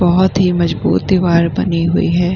बहुत ही मजबूत दीवार बनी हुई है।